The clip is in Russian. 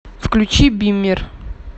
включи биммер